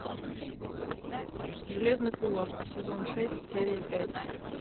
железный кулак сезон шесть серия пять